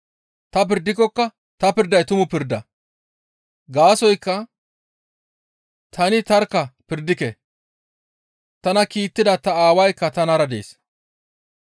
Ta pirdikokka ta pirday tumu pirda. Gaasoykka tani tarkka pirdike; tana kiittida ta Aawaykka tanara dees.